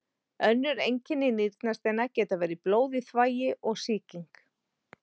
Önnur einkenni nýrnasteina geta verið blóð í þvagi og sýking.